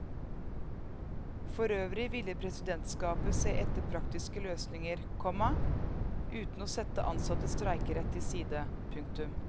Forøvrig ville presidentskapet se etter praktiske løsninger, komma uten å sette ansattes streikerett til side. punktum